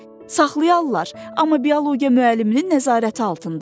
Saxlayarlar, amma biologiya müəlliminin nəzarəti altında.